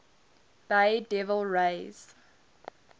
bay devil rays